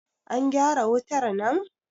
an gyara wutar nan!